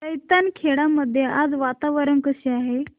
जैताखेडा मध्ये आज वातावरण कसे आहे